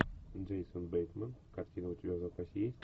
джейсон бейтман картина у тебя в запасе есть